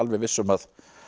viss um að